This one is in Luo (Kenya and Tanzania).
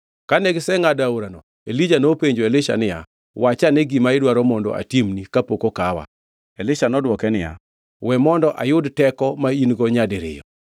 Kane gisengʼado aorano, Elija nopenjo Elisha niya, “Wachane gima idwaro mondo atimni kapok okawa?” Elisha nodwoke niya, “We mondo ayud teko ma in-go nyadiriyo.”